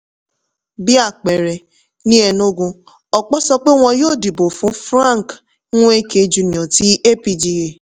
bí àpẹẹrẹ ní enugu ọ̀pọ̀ sọ pé wọ́n yóò dìbò fún frank nweke jr ti apga.